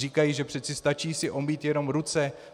Říkají, že přece stačí si omýt jenom ruce.